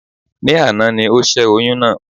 Ní àná ni ó sè oyún náà